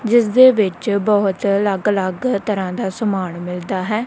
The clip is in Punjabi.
ਜਿਸਦੇ ਵਿੱਚ ਬਹੁਤ ਅੱਲਗ ਅਲੱਗ ਤਰ੍ਹਾਂ ਦਾ ਸਾਮਾਨ ਮਿਲਦਾ ਹੈ।